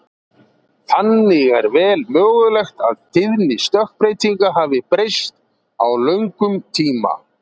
Þannig er vel mögulegt að tíðni stökkbreytinga hafi breyst á löngum tíma.